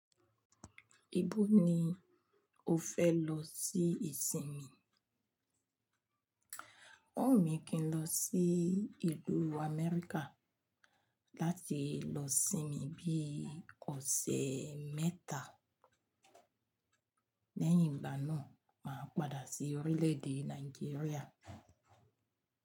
Ibo ni o fẹ́ lọ sí ìsinmi? Òún mi kí n lọ sí ìlú Amẹ́ríkà láti lọ sinmi bí ọsẹ̀ mẹ́ta lẹ́yìn ìgbà náà máa padà sí orílè èdè Nàìjíríà.